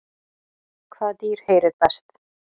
Hvaða dýr heyrir best?